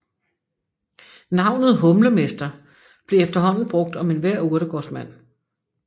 Navnet humlemester blev efterhånden brugt om enhver urtegårdsmand